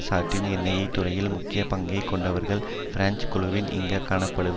சாட்டின் எண்ணெய் துறையில் முக்கிய பங்கை கொண்டவர்கள் பிரெஞ்சு குழுவான இங்கு காணப்படவே